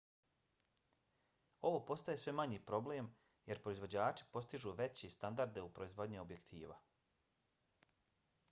ovo postaje sve manji problem jer proizvođači postižu veće standarde u proizvodnji objektiva